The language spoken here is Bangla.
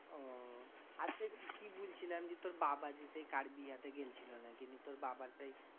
ওহ আর কি বুলছিলাম? যে তোর বাবা যে সেই কার বিহাতে গেছিলো নাকি? নিয়ে তোর বাবা সেই